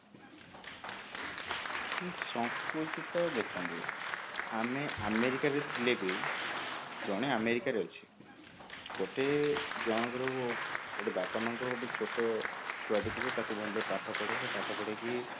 ସଙ୍କୁଚିତ ଦେଖନ୍ତୁ ଆମେ ଆମେରିକାରେ ଥିଲେ ବି ଜଣେ ଆମେରିକାରେ ଅଛି ଗୋଟେ ଜଣଙ୍କର ଗୋଟେ ବାପା ମାଙ୍କର ଗୋଟେ ଛୋଟ ଛୁଆ ଟେ ଥିବ ତାକୁ ଭଲରେ ପାଠ ପଢେଇଲେ ପାଠ ପଢେଇକି